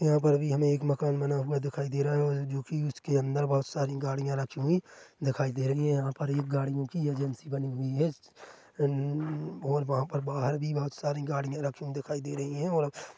यहाँ पर भी हमें एक मकान बना हुआ दिखाई दे रहा है जो की उसके अंदर बहुत सारी गाड़ियाँ रखी हुई दिखाई दे रही हैं यहाँ पर ये गाड़ियों की एजेंसी बनी हुई हैं उउउउउ और वहाँ पर बाहर भी बहुत सारी गाड़ियाँ रखी हुई दिखाई दे रही है और --